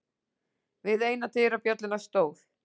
Við eina dyrabjölluna stóð